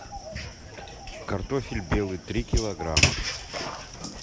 картофель белый три килограмма